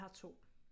Vi har 2